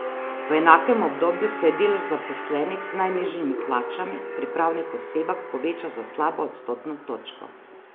V enakem obdobju se je delež zaposlenih z najnižjimi plačami pri pravnih osebah povečal za slabo odstotno točko.